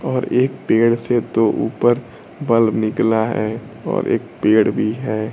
और एक पेड़ से तो ऊपर बल्ब निकला हैं और एक पेड़ भी हैं।